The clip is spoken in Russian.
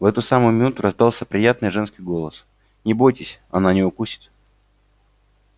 в эту самую минуту раздался приятный женский голос не бойтесь она не укусит